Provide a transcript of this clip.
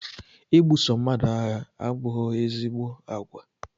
I buso mmadụ agha abụghị ezigbo àgwà